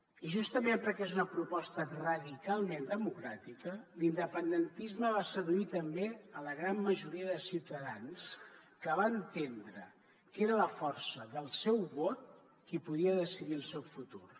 i justament perquè és una proposta radicalment democràtica l’independentisme va seduir també la gran majoria de ciutadans que van entendre que era la força del seu vot qui podia decidir el seu futur